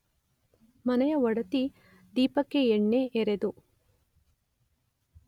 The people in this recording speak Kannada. ಮನೆಯ ಒಡತಿ ದೀಪಕ್ಕೆ ಎಣ್ಣೆ ಎರೆದು